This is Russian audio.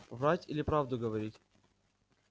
врать или правду говорить